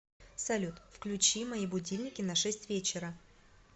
салют включи мои будильники на шесть вечера